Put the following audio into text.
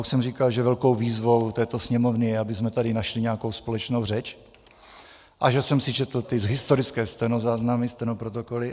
Už jsem říkal, že velkou výzvou této Sněmovny je, abychom tady našli nějakou společnou řeč, a že jsem si četl ty historické stenozáznamy, stenoprotokoly.